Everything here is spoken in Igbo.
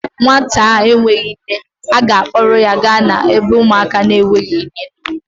Nwata a enweghi nne, a ga-akpọrọ ya gaa n'ebe ụmụaka na-enweghi nne nọ